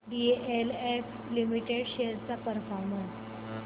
DLF limited shares चा performance